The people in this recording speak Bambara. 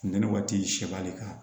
Funteni waati sɛ b'ale ka